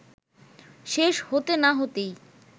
শেষ হতে না হতেই